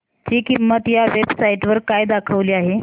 ची किंमत या वेब साइट वर काय दाखवली आहे